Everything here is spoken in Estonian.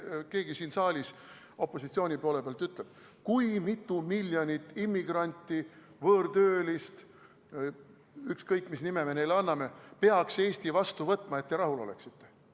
Äkki keegi siin saalis opositsiooni poole pealt ütleb: kui mitu miljonit immigranti, võõrtöölist – ükskõik, mis nime me neile anname – peaks Eesti vastu võtma, et te rahul oleksite?